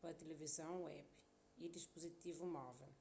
pa tilivizon web y dispuzitivu móvel